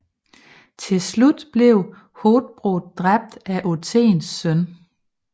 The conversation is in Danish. Tilslut blev Hothbrod dræbt af Othens søn